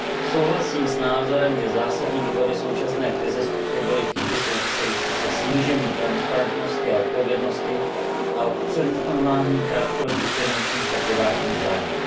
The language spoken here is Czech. Souhlasím s názorem, že zásadní důvody současné krize způsobily chyby související se snížením transparentnosti a odpovědnosti a s upřednostňováním krátkodobých finančních a privátních zájmů.